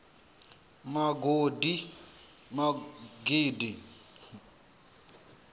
magidi